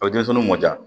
O bɛ denmisɛnw mɔ ja